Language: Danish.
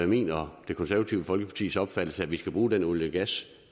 min og det konservative folkepartis opfattelse at vi skal bruge den olie og gas